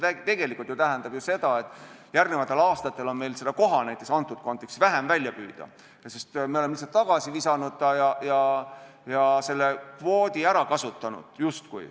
See tegelikult ju tähendab, et järgnevatel aastatel on meil koha vähem välja püüda, sest me oleme ta lihtsalt tagasi visanud ja selle kvoodi justkui ära kasutanud.